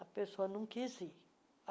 A pessoa não quis ir.